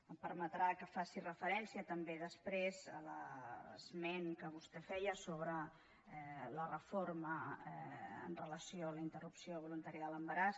em permetrà que faci referència també després a l’esment que vostè feia sobre la reforma amb relació a la interrupció voluntària de l’embaràs